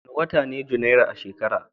Wane wata ne Janairu a shekara?